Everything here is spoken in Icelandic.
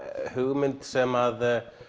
hugmynd sem